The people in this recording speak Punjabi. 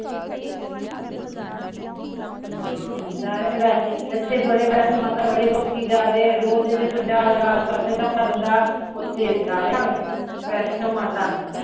ਹਮ, ਏਥੇ ਵੈਸਨੋਂ ਮਾਤਾ ਬੜੇ ਲੋਕੀਂ ਜਾ ਰਹੇ ਐ ਰੋਜ ਦੇ ਪੰਜਾਹ ਹਜ਼ਾਰ ਸੱਠ ਹਜ਼ਾਰ ਬੰਦਾ ਓਥੇ ਜਾ ਰਿਹਾ ਵਾਂ, ਵੈਸਨੋਂ ਮਾਤਾ